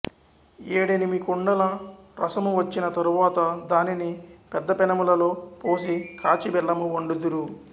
ఏడెనిమి కుండల రసము వచ్చిన తరువాత దానిని పెద్ద పెనములలో పోసి కాచి బెల్లము వండుదురు